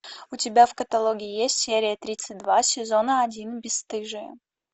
у тебя в каталоге есть серия тридцать два сезона один бесстыжие